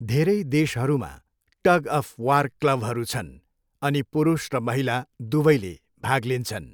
धेरै देशहरूमा tug of war क्लबहरू छन्, अनि पुरुष र महिला दुवैले भाग लिन्छन्।